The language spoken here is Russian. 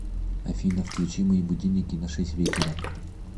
афина включи мои будильники на шесть вечера